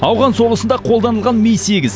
ауған соғысында қолданылған ми сегіз